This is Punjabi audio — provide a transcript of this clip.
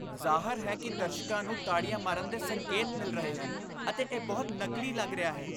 ਜ਼ਾਹਰ ਹੈ ਕਿ ਦਰਸ਼ਕਾਂ ਨੂੰ ਤਾੜੀਆਂ ਮਾਰਨ ਦੇ ਸੰਕੇਤ ਮਿਲ ਰਹੇ ਹਨ ਅਤੇ ਇਹ ਬਹੁਤ ਨਕਲੀ ਲੱਗ ਰਿਹਾ ਹੈ।